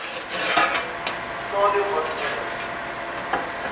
stadium was alles